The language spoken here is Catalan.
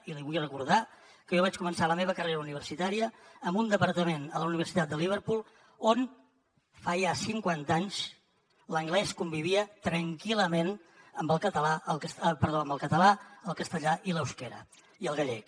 i li vull recordar que jo vaig començar la meva carrera universitària en un departament a la universitat de liverpool on fa ja cinquanta anys l’anglès convivia tranquil·lament amb el català el castellà i l’eusquera i el gallec